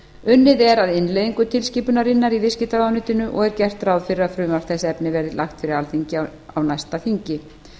unnið er að innleiðingu tilskipunarinnar í viðskiptaráðuneytinu og er gert ráð fyrir að frumvarp þess efnis verði lagt fyrir alþingi á næsta þingi